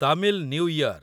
Tamil new year